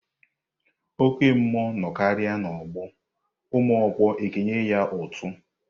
Oke mmụọ nọkarịa n'ọgbọ ụmụọkpụ ekenye ya útú.